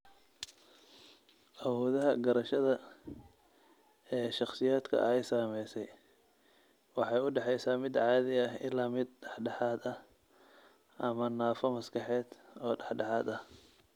Awoodaha garashada ee shakhsiyaadka ay saamaysay waxay u dhaxaysaa mid caadi ah ilaa mid dhexdhexaad ah ama naafo maskaxeed oo dhexdhexaad ah.